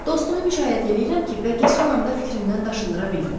Dostumu müşayiət eləyirəm ki, bəlkə son anda fikrindən daşındıra bildim.